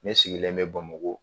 Ne sigilen bɛ Bamako.